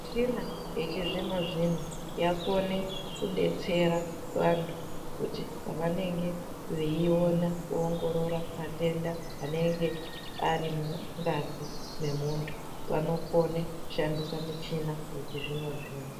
Michina yechizvino zvino yakona kudetsera vantu zvavamenge veiiongorora matenda anenge sri mungazi memuntu vanokona kushandisa michina yechizvino zvino